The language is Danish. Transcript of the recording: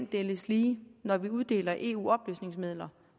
deles lige når vi uddeler eu oplysningsmidler